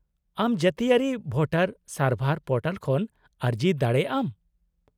-ᱟᱢ ᱡᱟᱹᱛᱤᱭᱟᱹᱨᱤ ᱵᱷᱳᱴᱟᱨ ᱥᱟᱨᱵᱷᱟᱨ ᱯᱳᱨᱴᱟᱞ ᱠᱷᱚᱱ ᱟᱹᱨᱡᱤ ᱫᱟᱲᱮᱭᱟᱜ ᱟᱢ ᱾